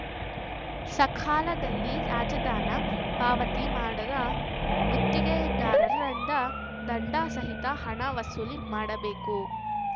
ಸಕಾಲದಲ್ಲಿ ರಾಜಧನ ಪಾವತಿ ಮಾಡದ ಗುತ್ತಿಗೆದಾರರಿಂದ ದಂಡ ಸಹಿತ ಹಣ ವಸೂಲಿ ಮಾಡಬೇಕು